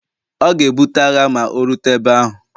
ọ ga-ebute agha ma o rute ebe ahu